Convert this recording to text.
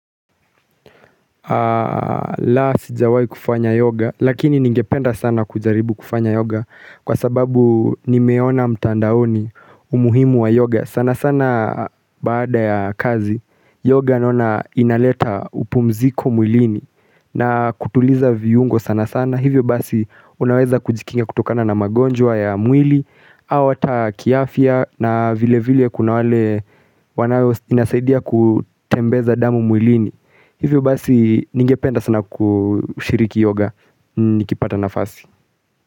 La sijawai kufanya yoga Lakini ningependa sana kujaribu kufanya yoga Kwa sababu ni meona mtandaoni umuhimu wa yoga sana sana baada ya kazi Yoga naona inaleta upumziko mwilini na kutuliza viungo sana sana Hivyo basi unaweza kujikinga kutokana na magonjwa ya mwili au ata kiafya na vile vile kuna wale wanao inasaidia kutembeza damu mwilini hivyo basi ningependa sana kushiriki yoga nikipata nafasi.